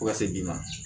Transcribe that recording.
Fo ka se bi ma